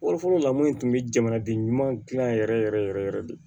Fɔlɔ fɔlɔ la minnu tun bɛ jamanaden ɲuman dilan yɛrɛ yɛrɛ yɛrɛ yɛrɛ de